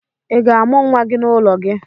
Ị ga-amụ nwa gị n'ụlọ gị?